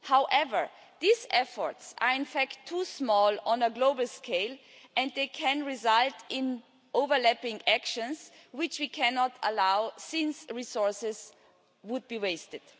However, these efforts are too small on a global scale, and they can result in overlapping actions which we cannot allow since resources would be wasted.